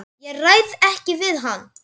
Ég ræð ekki við hann!